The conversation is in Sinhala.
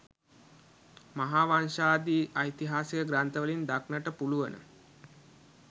මහාවංශාදී ඓතිහාසික ග්‍රන්ථවලින් දක්නට පුළුවන.